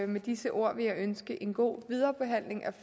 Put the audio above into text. med disse ord vil jeg ønske en god viderebehandling